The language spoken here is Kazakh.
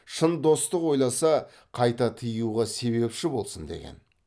шын достық ойласа қайта тыюға себепші болсын деген